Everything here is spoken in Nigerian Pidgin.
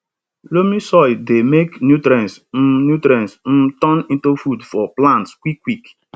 loamy soil dey make nutrients um nutrients um turn into food for plants quick quick